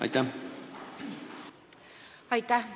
Aitäh!